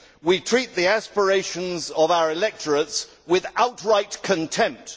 We treat the aspirations of our electorates with outright contempt.